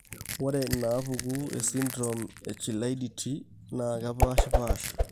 Ore inaapuku esindirom eChilaiditi kepaashipaasha.